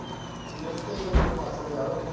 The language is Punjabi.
ਇਹ ਤੇ ਫੇਰ ਮਾਸੜ ਤਿਆਰ ਹੋਣਗੇ